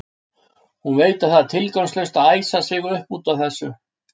Hún veit að það er tilgangslaust að æsa sig upp út af þessu.